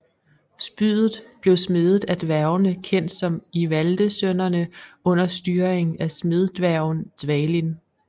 Spydet blev smedet af dværgene kendt som Ivaldesønnerne under styringen af smeddværgen Dvalin